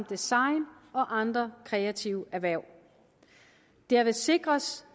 design og andre kreative erhverv derved sikres